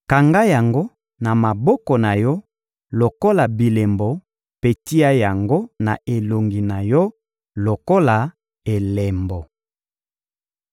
Kanga yango na maboko na yo lokola bilembo mpe tia yango na elongi na yo lokola elembo.